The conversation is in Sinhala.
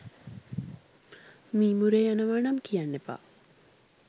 මීමුරේ යනවා නම් කියන්න එපා